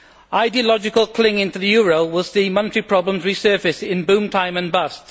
Ideological clinging to the euro will see monetary problems resurface in boom time and bust.